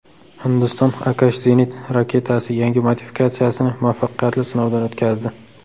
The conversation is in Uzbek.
Hindiston Akash zenit raketasi yangi modifikatsiyasini muvaffaqiyatli sinovdan o‘tkazdi.